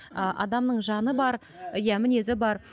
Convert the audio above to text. ы адамның жаны бар иә мінезі бар